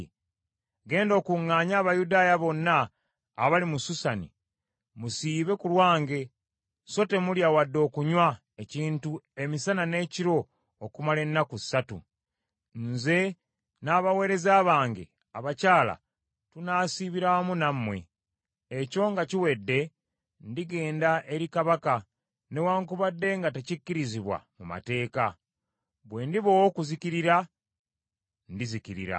“Genda okuŋŋaanye Abayudaaya bonna abali mu Susani, musiibe ku lwange, so temulya wadde okunywa ekintu emisana n’ekiro okumala ennaku ssatu. Nze n’abaweereza bange abakyala tunaasiibira wamu nammwe. Ekyo nga kiwedde, ndigenda eri Kabaka, newaakubadde nga tekikkirizibwa mu mateeka. Bwe ndiba ow’okuzikirira, nzikirira.”